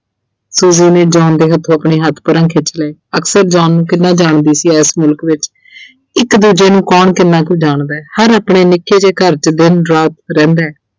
Suji ਨੇ John ਦੇ ਹੱਥੋਂ ਆਪਣੇ ਹੱਥ ਪਰ੍ਹਾਂ ਖਿੱਚ ਲਏ ਅਕਸਰ John ਨੂੰ ਕਿੰਨ੍ਹਾਂ ਜਾਣਦੀ ਸੀ ਏਸ ਮੁਲਕ ਵਿੱਚ। ਇੱਕ ਦੂਜੇ ਨੂੰ ਕੌਣ ਕਿੰਨ੍ਹਾਂ ਕੁ ਜਾਣਦੈ, ਹਰ ਆਪਣੇ ਨਿੱਕੇ ਜੇ ਘਰ 'ਚ ਦਿਨ-ਰਾਤ ਰਹਿੰਦੈ